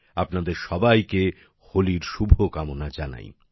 আপনাদের সবাইকে হোলির শুভকামনা জানাই